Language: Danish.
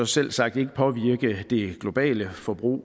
selvsagt ikke påvirke det globale forbrug